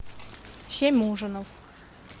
семь ужинов